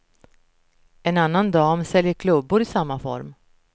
En annan dam säljer klubbor i samma form.